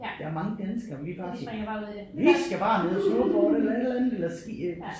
Der er mange danskere vi er bare vi skal bare nede og snowboarde eller et eller andet eller ski øh